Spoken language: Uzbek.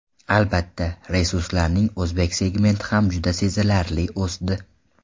Albatta, resurslarning o‘zbek segmenti ham juda sezilarli o‘sdi.